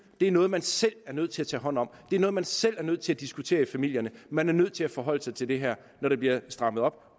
er noget man selv er nødt til at tage hånd om det er noget man selv er nødt til at diskutere i familierne man er nødt til at forholde sig til det her når der bliver strammet op